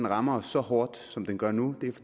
rammer os så hårdt som den gør nu